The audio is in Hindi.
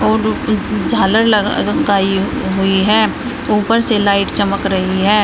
और द उ झालर लग लगाई गई है ऊपर से लाइट चमक रही है।